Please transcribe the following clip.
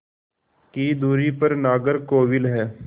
की दूरी पर नागरकोविल है